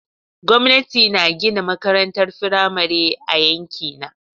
Gwamnati na gina makarantar firamare a yankina.